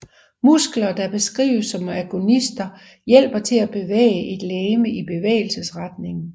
Muskler der beskrives som agonister hjælper til at bevæge et legeme i bevægelsesretningen